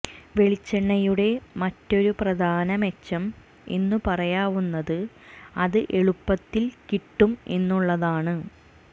വെളിച്ചെണ്ണയുടെ മറ്റൊരു പ്രധാന മെച്ചം എന്നു പറയാവുന്നത് അത് എളുപ്പത്തിൽ കിട്ടും എന്നുള്ളതാണ്